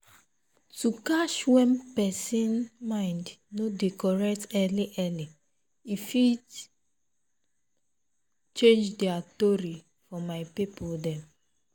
to catch when pesin mind no dey correct early early e fit change their tory for my people dem